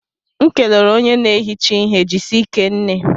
M kelere onye na ehicha ihe Jisike nne